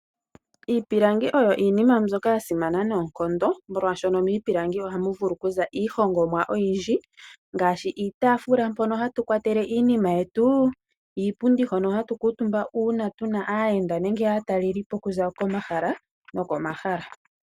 Iipilangi oyo iinima mbyoka ya simana noonkondo, molwaashoka miipilangi ohamu vulu okuza iihongomwa oyindji ngaashi iitaafula mpono hatu kwatele iinima yetu, iipundi hoka hatu kuutumba uuna tuna aayenda nenge aatalelipo okuza komahala nomahala.